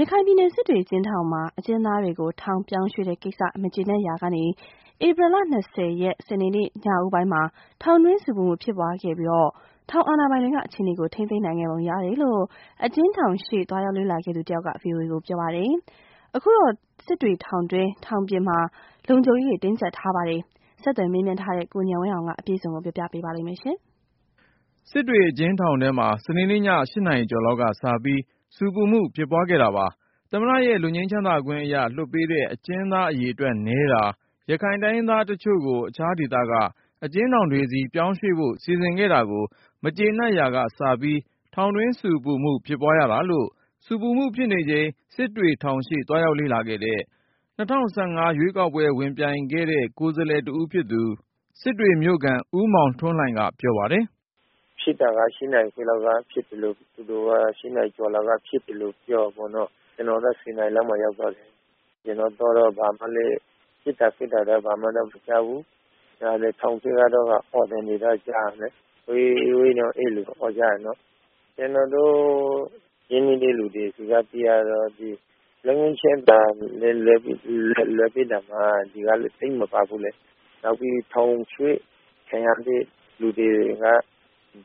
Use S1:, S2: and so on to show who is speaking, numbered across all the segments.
S1: ရခိုင်ပြည်နယ် စစ်တွေအကျဉ်းထောင်မှာ အကျဉ်းသားတွေကို ထောင်ပြောင်းရွှေ့တဲ့ကိစ္စ မကျေနပ်ရာက ဧပြီ ရက် စနေနေ့ ညဦးပိုင်းမှာ ထောင်တွင်းဆူပူမှု ဖြစ်ပွားခဲ့ပြီး ထောင်အာဏာပိုင်တွေက အခြေအနေကို ထိန်းသိမ်းနိုင်ခဲ့ပုံရတယ်လို့ အကျဉ်းထောင်ရှေ့ သွားရောက် လေ့လာခဲ့သူတဦးက VOA ကိုပြောပါတယ်။ အခုတော့ စစ်တွေထောင်တွင်း ထောင်ပြင်မှာ လုံခြုံရေးတင်းကြပ်ထားပါတယ်။ ဆက်သွယ် မေးမြန်းထားတဲ့ ကိုဉာဏ်ဝင်းအောင်က အခြေအနေတွေကို ပြောပြမှာပ
S2: ါ။ စစ်တွေအကျဉ်းထောင်ထဲမှာ စနေ့ည ၈ နာရီကျော်လောက်ကစပြီး ဆူပူမှု ဖြစ်ပွားခဲ့တာပါ။ သမ္မတရဲ့ လွတ်ငြိမ်းချမ်းသာခွင့်အရ လွှတ်ပေးတဲ့ အကျဉ်းသား အရေအတွက်နည်းတာ၊ ရခိုင်တိုင်းရင်းသားတချို့ကို အခြားဒေသက အကျဉ်းထောင်တွေဆီ ပြောင်းရွှေ့ဖို့ စီစဉ်ခဲ့တာကို မကြေနပ်ရာကစပြီး ထောင်တွင်းဆူပူမှု ဖြစ်ပွားရတာလို့ ဆူပူမှုဖြစ်နေချိန် စစ်တွေထောင်ရှေ့ သွားရောက်လေ့လာခဲ့တဲ့ ၂၀၁၅ ရွေးကောက်ပွဲ ဝင်ပြိုင်ခဲ့တဲ့ ကိုယ်စားလှယ်တဦးဖြစ်သူ စစ်တွေမြို့ခံ ဦးမောင်ထွန်းလှိုင်က ပြောပါတယ်။
S3: “ဖြစ်တာက ၈ နာရီခွဲလောက်က ဖြစ်တယ်တို့ ၈နာရီကျော်လောက်က ဖြစ်တယ်တို့ သူတို့ကပြောတာပေါ့။ ကျနော်က ည ၁၀နာရီလောက်မှာ ရောက်သွားတယ်။ ကျနော်သွားတော့ ပစ်တာခတ်တာ ဘာမှ မကြားရဘူး။ ထောင်ထဲက အော်သံတွေတော့ ကြားရတယ်။ ဝေး.. ဝေး.. အဲလို အော်ကြတာပေါ့။ ကျနော်တို့ ရင်းနှီးတဲ့သူတွေဆီက သိရတာကတော့ လွတ်ငြိမ်းချမ်းသာခွင့်နဲ့ လွှတ်ပေးတာမှာ ဒီထောင်က သိပ်မပါဘူးလေ။ နောက်ပြီး ထောင်ရွှေ့ခံရတဲ့ လူတွေက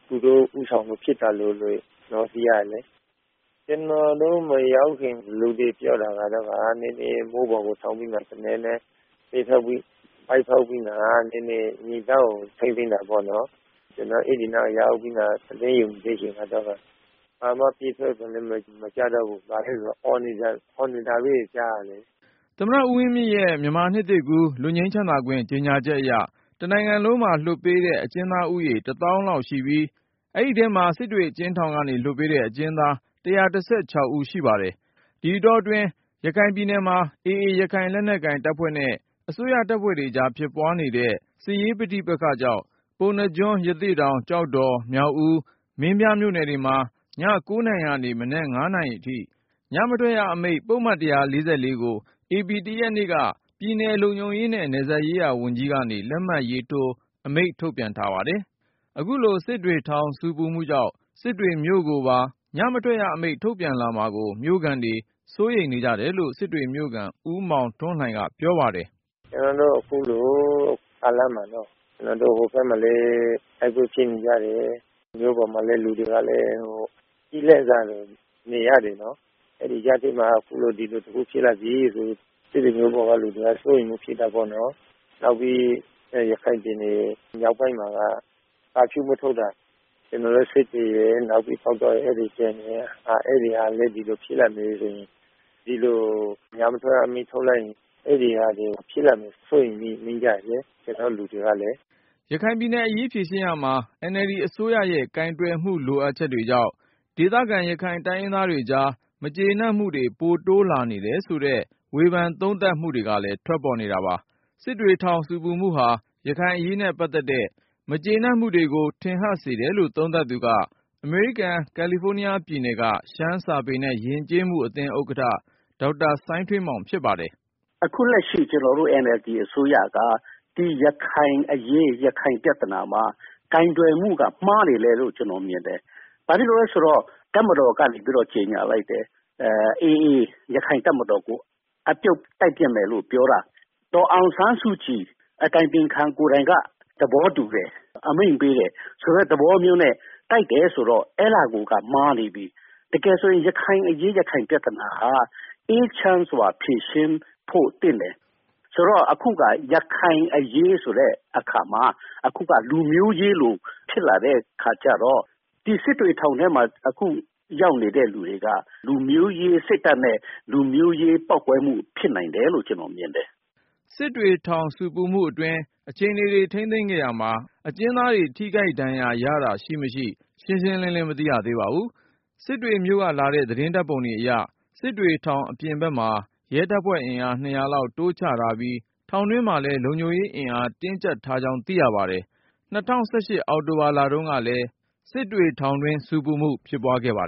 S3: သူတို့ဦးဆောင်ပြီး ဖြစ်တာလို့ သိရတယ်လေ။ ကျနော်တို့ မရောက်ခင်အခြေအနေ လူတွေပြောတာကတော့ နည်းနည်း မိုးပေါ်ကိုထောင်ပြီးတော့ သေနတ်နဲ့ ပစ်ဖေါက်ပြီးတော့မှ နည်းနည်း ငြိမ်သွားအောင် ထိန်းသိမ်းတာပေါ့နော်။ ကျနော် အဲဒီနားကိုရောက်ပြီး သတင်းစောင့်ကြည့်တဲ့ အချိန်ကျတော့ကာ ဘာမှပစ်ခတ်သံလည်း မကြားတော့ဘူး။ အော်နေတာပဲ ကြားရတော့တာ
S2: ။” သမ္မတဦးဝင်မြင့်ရဲ့ မြန်မာနှစ်သစ်ကူး လွတ်ငြိမ်းချမ်းသာခွင့် ကြေညာချက်အရ တနိုင်ငံလုံးမှာပြန်လွှတ်ပေးတဲ့ အကျဉ်းသားဦးရေ တသောင်း လောက် ရှိပြီး အဲဒီထဲမှာ စစ်တွေထောင်ကနေ လွှတ်ပေးတဲ့ အကျဉ်းသား ၁၁၆ ဦးရှိပါတယ်။ အမျိုးသား ၁၀၉ ဦး၊ အမျိုးသမီး ၆ ဦးနဲ့ နိုင်ငံခြားသား တဦးတို့ ပါဝင်ပါတယ်။ ဒီအတောတွင်း ရခိုင်ပြည်နယ်မှာ AA ရခိုင်လက်နက်ကိုင်တပ်ဖွဲ့နဲ့ အစိုးရတပ်တွေကြား ဖြစ်ပွားနေတဲ့ စစ်ရေးပဋိပက္ခကြောင့် ပုဏ္ဏားကျွန်း၊ ရသေ့တောင်၊ ကျောက်တော်၊ မြောက်ဦး၊ မင်းပြားမြို့နယ်တွေမှာ ည ၉ နာရီကနေ မနက် ၅ နာရီအထိ ညမထွက်ရအမိန့် ပုဒ်မ ၁၄၄ ကို ဧပြီ ၁ ရက်နေ့က ပြည်နယ် လုံခြုံရေးနဲ့ နယ်စပ်ရေးရာဝန်ကြီးကနေ လက်မှတ်ထိုး အမိန့် ထုတ်ပြန်ထားတာပါ။ အခုလို စစ်တွေထောင်ဆူပူမှုကြောင့် စစ်တွေမြို့ကိုပါ ညမထွက်ရအမိန့် ထုတ်ပြန်လာမှာကို မြို့ခံတွေစိုးရိမ်နေကြတယ်လို့ စစ်တွေမြို့ခံ ဦးမောင်ထွန်းလှိုင်က ပြောပါတယ်။
S3: “ကျနော်တို့ အခုလိုကာလမှာပေါ့နော့ ဟိုဘက်မှာလည်း တိုက်ပွဲတွေက ဖြစ်နေကြတယ်။ မြို့ပေါ်မှာလည်း လူတွေက ကျီးလန့်စာစား နေရတယ်။ အဲဒီကြားထဲမှာ အခုလို ဒီလိုတခု ဖြစ်လာပြီဆိုရင် စစ်တွေမြို့ကလူတွေက စိုးရိမ်မှုဖြစ်တာပေါ့နော်။ နောက်ပြီး ရခိုင်ပြည်နယ် မြောက်ပိုင်းမှာက ကာဖြူး မထုတ်တာက ကျနော်တို့ စစ်တွေရယ်၊ နောက်ပြီး ပေါက်တောရယ် အဲဒါတွေ ကျန်နေတယ်။ အဲဒီဟာလည်း ဒီလို ညမထွက်ရအမိန့် ထုတ်လိုက်မယ်ဆိုရင် အဲဒီဟာမျိုး ဖြစ်လာမှာကို ကျနော်တို့လူတွေက စိုးရိမ်နေကြတယ်လေ
S2: ။” ရခိုင်ပြည်နယ်အရေးဖြေရှင်းရာမှာ NLD အစိုးရရဲ့ကိုင်တွယ်မှု လိုအပ်ချက်တွေကြောင့် ဒေသခံရခိုင်တိုင်းရင်းသားတွေကြား မကျေနပ်မှုတွေ ပိုတိုးလာနေတယ်ဆိုတဲ့ ဝေဖန်သုံးသပ်မှုတွေကလည်း ထွက်ပေါ်နေတာပါ။ စစ်တွေထောင်ဆူပူမှုဟာ ရခိုင်အရေးနဲ့ ပတ်သက်တဲ့ မကြေနပ် မှုတွေကို ထပ်ဟပ်စေတယ်လို့ သုံးသပ်သူက အမေရိကန် ကယ်လီဖိုးနီးယားပြည်နယ်က ရှမ်းစာပေနဲ့ ယဉ်ကျေးမှုအသင်း ဥက္ကဋ္ဌ ဒေါက်တာ စိုင်းထွေးမောင် ဖြစ်ပါတယ်
S1: ။ “အခုလက်ရှိ ကျနော်တို့ NLD အစိုးရက ဒီရခိုင်အရေး ရခိုင်ပြဿနာမှာ ကိုင်တွယ်မှုက မှားနေတယ်လို့ ကျနော်မြင်တယ်။ ဘာဖြစ်လို့လည်း ဆိုတော့ တပ်မတော်ကနေပြီး ကြေညာလိုက်တယ်။ AA ရခိုင်တပ်မတော်ကို အပြုတ်တိုက်ပစ်မယ်လို့ ပြောတာ ဒေါ်အောင်ဆန်းစုကြည် အတိုင်ပင်ခံ ကိုယ်တိုင်က သဘောတူတယ် အမိန့်ပေးတယ်.. ဆိုတဲ့သဘောမျိုးနဲ့ တိုက်တယ်ဆိုတော့ အဲဒါကိုက မှားနေပြီ။ တကယ်ဆိုရင် ရခိုင်အရေး ရခိုင်ပြဿနာဟာ အေးချမ်းစွာဖြေရှင်းဖို့ သင့်တယ်။ ဆိုတော့ အခုက ရခိုင်အရေးဆိုတဲ့ အခါမှာ အခုကလူမျိုးရေးလို ဖြစ်လာတဲ့ အခါကျတော့ ဒီစစ်တွေထောင်ထဲမှာ အခုရောက်နေတဲ့ လူတွေက လူမျိုးရေးစိတ်ဓါတ်နဲ့ လူမျိုးရေးပေါက်ကွဲမှု ဖြစ်နိုင်တယ်လို့ ကျနော်မြင်တယ်
S2: ။” စစ်တွေထောင်ဆူပူမှုအတွင်း အခြေအနေတွေ ထိန်းသိမ်းခဲ့ရာမှာ အကျဉ်းသားတွေ ထိခိုက်ဒဏ်ရာရတာ ရှိ/မရှိ ရှင်းရှင်းလင်းလင်း မသိရသေးပါဘူး။ စစ်တွေမြို့ကလာတဲ့ သတင်းဓါတ်ပုံတွေအရ စစ်တွေထောင်အပြင်ဘက်မှာ ရဲတပ်ဖွဲ့အင်အား ၂၀၀ လောက်တိုးချထားပြီး ထောင်တွင်းမှာလည်း လုံခြုံရေးတင်းကြပ်ထားကြောင်း သိရပါတယ်။ ၂၀၁၈ အောက်တိုဘာလ တုန်းကလည်း စစ်တွေထောင်တွင်း ဆူပူမှု ဖြစ်ပွားခဲ့ပါတယ်